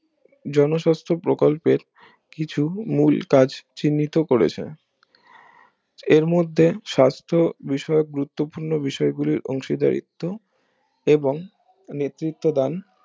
জনস্বাস্থ প্রকল্পের কিছু মূল কাজ চিন্নিত করেছে এর মধ্যে সাস্থ বিষয়ক গুরুত্বপূর্ণ বিষয় গুলির অংশীদারিত্ব এবং নেতৃত্ব দান